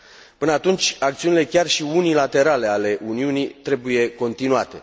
Până atunci acțiunile, chiar și unilaterale, ale Uniunii trebuie continuate.